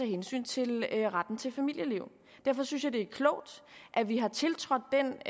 hensyn til retten til familieliv derfor synes jeg det er klogt at vi har tiltrådt den